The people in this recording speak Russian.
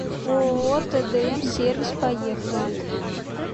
ооо тдм сервис поехали